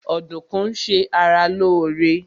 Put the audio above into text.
Ọdùkún ń ṣe ara lóóre